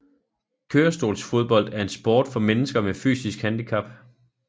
Kørestolsfodbold er en sport for mennesker med fysisk handicap